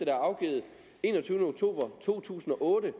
er afgivet den enogtyvende oktober to tusind og otte